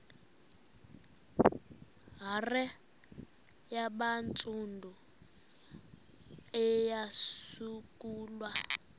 hare yabantsundu eyasungulwa